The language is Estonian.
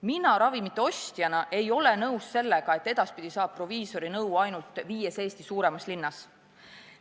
Mina ravimite ostjana ei ole nõus sellega, et edaspidi saab proviisori nõu ainult viies Eesti suuremas linnas.